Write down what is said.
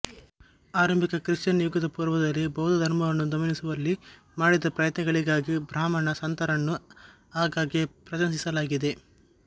ಆರಂಭಿಕ ಕ್ರಿಶ್ಚಿಯನ್ ಯುಗದ ಪೂರ್ವದಲ್ಲಿ ಬೌದ್ಧ ಧರ್ಮವನ್ನು ದಮನಿಸುವಲ್ಲಿ ಮಾಡಿದ ಪ್ರಯತ್ನಗಳಿಗಾಗಿ ಬ್ರಾಹ್ಮಣ ಸಂತರನ್ನು ಆಗಾಗ್ಗೆ ಪ್ರಶಂಸಿಸಲಾಗಿದೆ